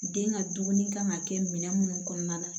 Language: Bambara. Den ka dumuni kan ka kɛ minɛn munnu kɔnɔna na